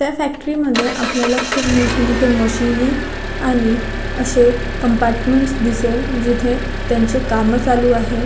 त्या फॅक्टरी मध्ये आपल्याला खूप मोठया मोठ्या मशीनी आणि असे कम्पार्टमेंट्स दिसेल जिथे त्यांचे कामं चालू आहेत.